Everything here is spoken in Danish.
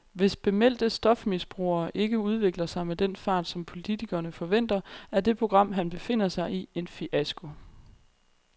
Hvis bemeldte stofmisbrugere ikke udvikler sig med den fart, som politikerne forventer, er det program, han befinder sig i, en fiasko.